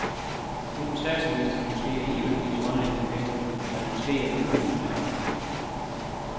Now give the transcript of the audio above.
Nu vil statsministeren måske alligevel give grønlænderne penge, da der måske er guldminer deroppe.